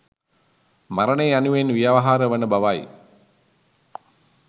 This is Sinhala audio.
මරණය යනුවෙන් ව්‍යවහාර වන බවයි.